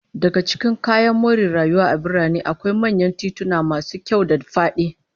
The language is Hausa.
Daga cikin kayan more rayuwa a birane, akwai manyan tituna masu kyau da fadi